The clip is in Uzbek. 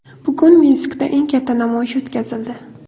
Bugun Minskda eng katta namoyish o‘tkazildi .